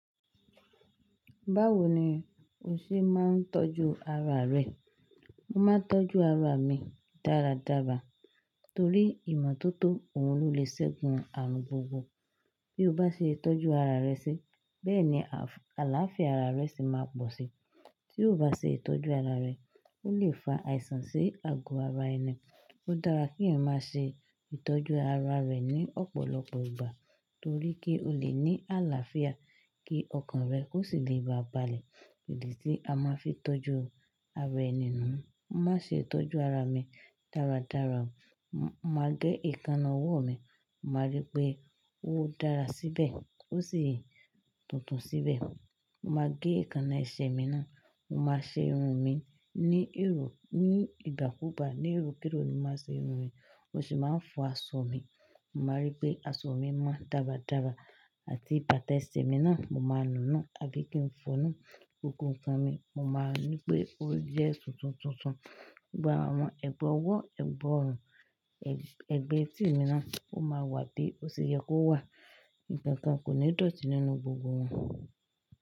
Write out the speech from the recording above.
Báwo ni o ṣe máa ń tọ́jú ara rẹ? Mo máa ń tọ́jú ara mi dáradára torí ìmọ́tótó òun ló lè ṣẹ́gun ààrùn gbogbo. Bí o bá ṣe tọ́jú ara rẹ sí bẹ́ẹ̀ ni àlàáfíà ara rẹ se máa pọ̀ sí. Tí o ò bá ṣe ìtọ́jú ara rẹ, ó lè fa àìsàn sí ago ara ẹni. Ó dára kí ẹeyan máa ṣe ìtọ́jú ara rẹ ní ọ̀pọ̀lọpọ̀ ìgbà torí kí o lè ní àlàáfíà kí ọkàn rẹ ó sì lè ba balẹ̀. Ìdí tí a máa ń fi tọ́jú ara ẹni nu, mo máa ń ṣe ìtọ́jú ara mi dáradára. Mo máa gẹ ìkanà ọwọ́ mi, mo máa rí pé ó dára síbẹ̀ ó sì tuntun síbẹ̀. Mo máa gẹ eekannà ẹsẹ̀ mi náà, mo máa ṣe irun mi ní ìgbà kúùgbà. Ní èrò kíró ni mo máa ṣe irun mi, mo sì máa ń fọ aṣọ mi. Mo máa rí pé aṣọ mi mọ́ dáradára àti bàtà ẹsẹ̀ mi náà, mo máa nù nù tàbí kí n fọ̀ nù. Gbogbo nkan mi, mo máa rí pé ó jẹ́ tuntun tuntun. Gbogbo àwon ẹgbà ọwọ́, ẹgbà ọrùn, ẹgbà etí mi náà ó máa wà bí ó ṣe yẹ kó wà. Ìkankan kò ní dọ̀tí nínú gbogbo wọn.